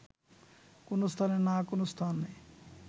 কোন স্থানে না কোন স্থানে